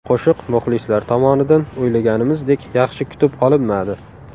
Qo‘shiq muxlislar tomonidan o‘ylaganimizdek yaxshi kutib olinmadi.